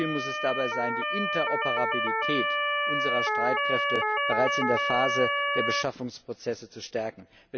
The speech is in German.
Ziel muss es dabei sein, die Interoperabilität unserer Streitkräfte bereits in der Phase der Beschaffungsprozesse zu stärken.